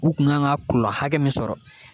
U kun kan ka kulɔ hakɛ min sɔrɔ